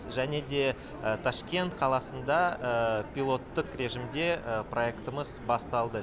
және де ташкент қаласында пилоттық режимде проектымыз басталды